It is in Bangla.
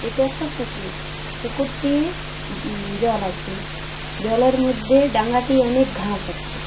এটা একটা পুকুর পুকুরটির জল আছে জলের মধ্যে ডাঙাটি অনেক ঘাস আছে।